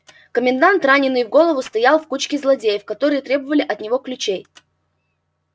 комендант раненный в голову стоял в кучке злодеев которые требовали от него ключей